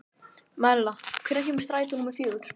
Marela, hvenær kemur strætó númer fjögur?